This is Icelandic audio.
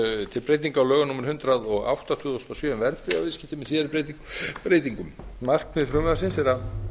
til breytinga á lögum númer hundrað og átta tvö þúsund og sjö um verðbréfaviðskipti með síðari breytingum markmið frumvarpi er að